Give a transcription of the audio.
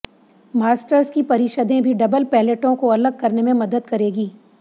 masters की परिषदें भी डबल पैलेटों को अलग करने में मदद करेगी